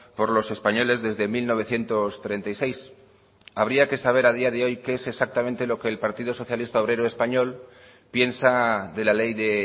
por los españoles desde mil novecientos treinta y seis habría que saber a día de hoy qué es exactamente lo que el partido socialista obrero español piensa de la ley de